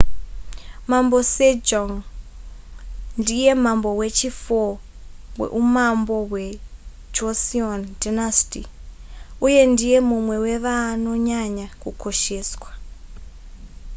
mambo sejong ndiye mambo wechi4 weumambo hwejoseon dynasty uye ndiye mumwe wevanonyanya kukosheswa